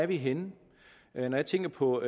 vi er henne når jeg tænker på